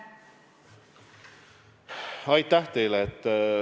Aitäh teile!